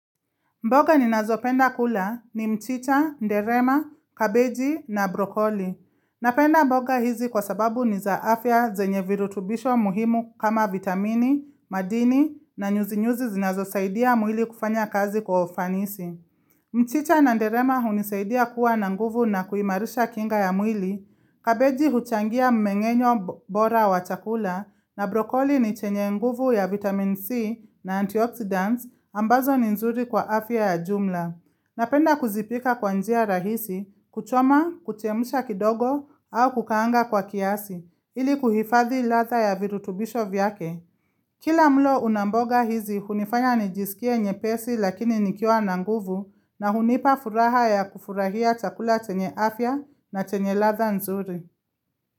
Mboga ninazopenda kula ni mchicha, nderema, kabeji na brokoli. Napenda mboga hizi kwa sababu ni za afya zenye virutubisho muhimu kama vitamini, madini na nyuzi-nyuzi zinazosaidia mwili kufanya kazi kwa ufanisi. Mchicha na nderema hunisaidia kuwa na nguvu na kuimarisha kinga ya mwili kabeji huchangia mmengenyo bora wa chakula. Na brokoli ni chenye nguvu ya vitamin C na antioxidants ambazo ni nzuri kwa afya ya jumla Napenda kuzipika kwa njia rahisi kuchoma, kuchemsha kidogo au kukaanga kwa kiasi ili kuhifadhi ladha ya virutubisho vyake Kila mlo una mboga hizi hunifanya nijisikie nyepesi lakini nikiwa na nguvu na hunipa furaha ya kufurahia chakula chenye afya na chenye ladha nzuri.